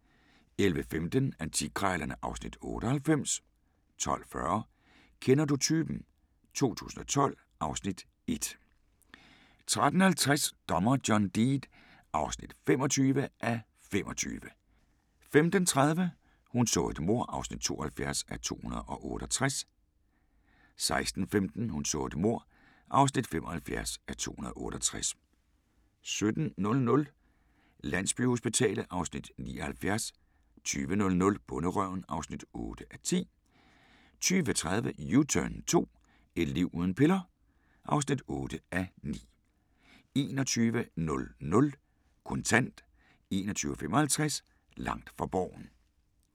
11:15: Antikkrejlerne (Afs. 98) 12:40: Kender du typen? 2012 (Afs. 1) 13:50: Dommer John Deed (25:25) 15:30: Hun så et mord (72:268) 16:15: Hun så et mord (75:268) 17:00: Landsbyhospitalet (Afs. 79) 20:00: Bonderøven (8:10) 20:30: U-turn 2 – Et liv uden piller? (8:9) 21:00: Kontant 21:55: Langt fra Borgen